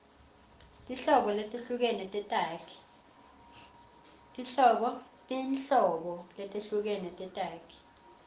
tinhlobo letehlukene tetakhi